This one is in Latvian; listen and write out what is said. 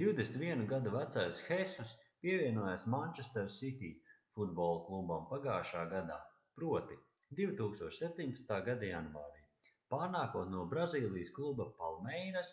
21 gadu vecais hesus pievienojās manchester city futbola klubam pagājušajā gadā proti 2017. gada janvārī pārnākot no brazīlijas kluba palmeiras